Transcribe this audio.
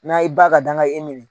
Na i ba ka danga ye i minɛn